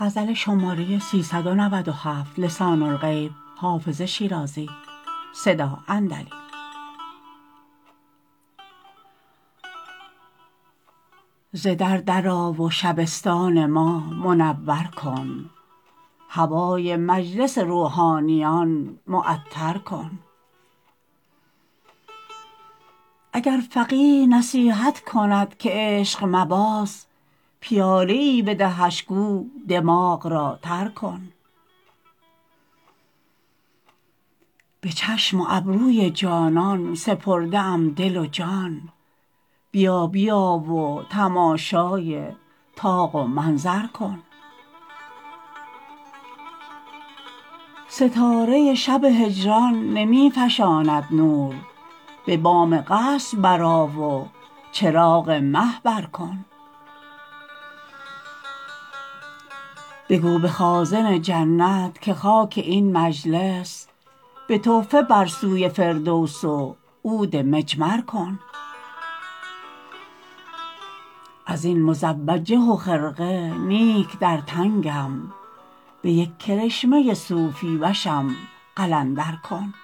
ز در در آ و شبستان ما منور کن هوای مجلس روحانیان معطر کن اگر فقیه نصیحت کند که عشق مباز پیاله ای بدهش گو دماغ را تر کن به چشم و ابروی جانان سپرده ام دل و جان بیا بیا و تماشای طاق و منظر کن ستاره شب هجران نمی فشاند نور به بام قصر برآ و چراغ مه بر کن بگو به خازن جنت که خاک این مجلس به تحفه بر سوی فردوس و عود مجمر کن از این مزوجه و خرقه نیک در تنگم به یک کرشمه صوفی وشم قلندر کن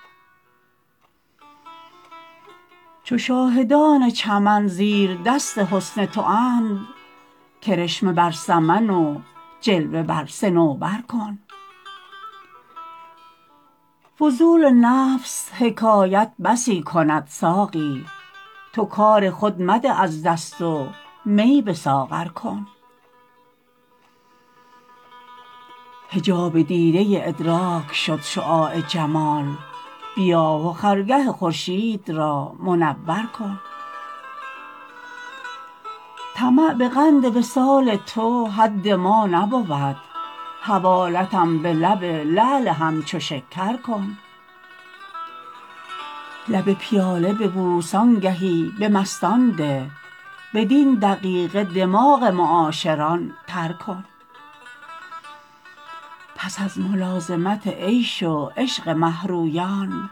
چو شاهدان چمن زیردست حسن تواند کرشمه بر سمن و جلوه بر صنوبر کن فضول نفس حکایت بسی کند ساقی تو کار خود مده از دست و می به ساغر کن حجاب دیده ادراک شد شعاع جمال بیا و خرگه خورشید را منور کن طمع به قند وصال تو حد ما نبود حوالتم به لب لعل همچو شکر کن لب پیاله ببوس آنگهی به مستان ده بدین دقیقه دماغ معاشران تر کن پس از ملازمت عیش و عشق مه رویان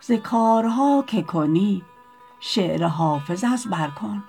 ز کارها که کنی شعر حافظ از بر کن